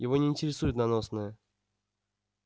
его не интересует наносное